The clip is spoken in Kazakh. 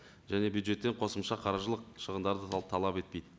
және бюджеттен қосымша қаржылық шығындарды да талап етпейді